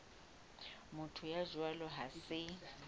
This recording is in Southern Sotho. motho ya jwalo ha se